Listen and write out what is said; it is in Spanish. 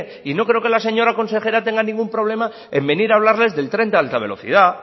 y no creo que la señora consejera tenga ningún problema en venir a hablarles del tren de alta velocidad